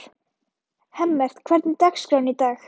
Hemmert, hvernig er dagskráin í dag?